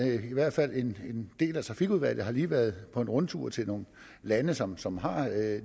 i hvert fald en del af trafikudvalget lige har været på en rundtur til nogle lande som som har